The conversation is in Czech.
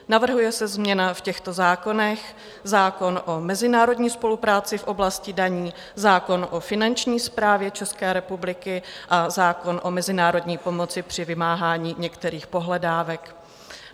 Navrhuje se změna v těchto zákonech - zákon o mezinárodní spolupráci v oblasti daní, zákon o finanční správě České republiky a zákon o mezinárodní pomoci při vymáhání některých pohledávek.